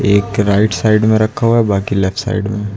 एक right side में रखा हुआ बाकी लेफ्ट साइड में।